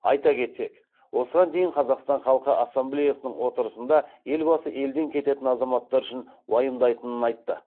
айта кетсек осыған дейін қазақстан халқы ассемблеясының отырысында елбасы елден кететін азаматтар үшін уайымдайтынын айтты